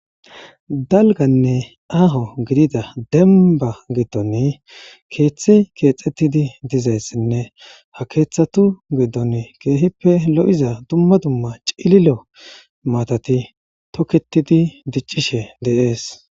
dalganne aaho gidida demba giddonne keeththe keexettidi dizayssinne ha keeththatu giddon keehippe lo7iza dumma dumma cililo maatati tokketidi diccishe deees